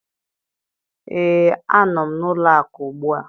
Ee, a nọ m n'ụlọ akụ ugbu a